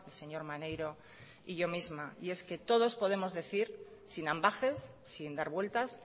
señor maneiro y yo misma y es que todos podemos decir sin ambages sin dar vueltas